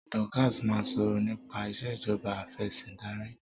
Dorcas má sọrọ nipa Ìṣèjọba Afẹ̀sìndarí.